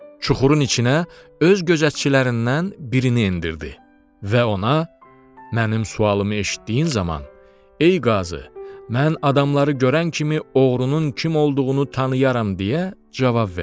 Çuxurun içinə öz gözətçilərindən birini endirdi və ona “Mənim sualımı eşitdiyin zaman, Ey qazı, mən adamları görən kimi oğrunun kim olduğunu tanıyarəm.”